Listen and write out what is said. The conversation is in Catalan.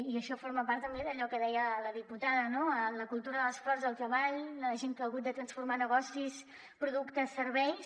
i això forma part també d’allò que deia la diputada no la cultura de l’esforç el treball la gent que ha hagut de transformar negocis productes serveis